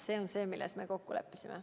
See on see, milles me kokku leppisime.